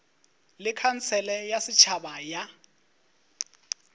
le khansele ya setšhaba ya